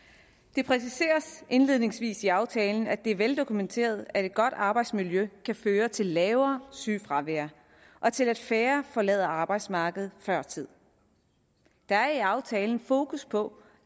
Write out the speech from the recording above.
det præciseres indledningsvis i aftalen at det er veldokumenteret at et godt arbejdsmiljø kan føre til lavere sygefravær og til at færre forlader arbejdsmarkedet før tid der er i aftalen fokus på